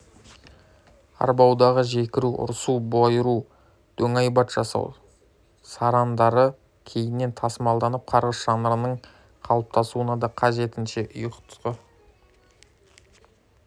арбаудағы жекіру ұрсу бұйыру дөңайбат жасау сарындары кейіннен тасымалданып қарғыс жанрының қалыптасуына да қажетінше ұйытқы